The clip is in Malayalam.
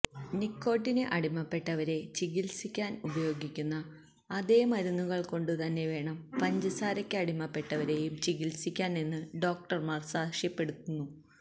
നിക്കോട്ടിന് അടിമപ്പെട്ടവരെ ചികിൽസിക്കാൻ ഉപയോഗിക്കുന്ന അതേ മരുന്നുകൾ കൊണ്ടു തന്നെവേണം പഞ്ചസാരയ്ക്ക് അടിമപ്പെട്ടവരെയും ചികിൽസിക്കാൻ എന്നു ഡോക്ടർമാർ സാക്ഷ്യപ്പെടുത്തുന്നു